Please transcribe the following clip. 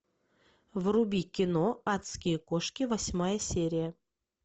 вруби кино адские кошки восьмая серия